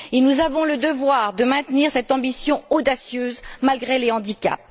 Nous avons le devoir de maintenir cette ambition audacieuse, malgré les handicaps.